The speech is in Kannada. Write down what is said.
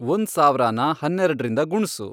ಒಂದ್ ಸಾವ್ರಾನ ಹನ್ನೆಡ್ರಿಂದ ಗುಣ್ಸು